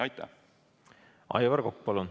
Aivar Kokk, palun!